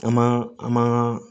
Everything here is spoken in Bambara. An ma an ma